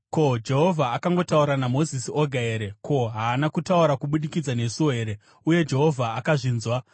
“Ko, Jehovha akangotaura naMozisi oga here? Ko, haana kutaura kubudikidza nesuwo here?” Uye Jehovha akazvinzwa.